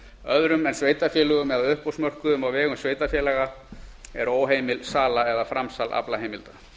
öðrum en sveitarfélögum eða uppboðsmörkuðum á vegum sveitarfélaga er óheimil sala eða framsal aflaheimilda